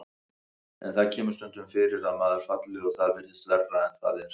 En það kemur stundum fyrir að maður falli og það virðist verra en það er.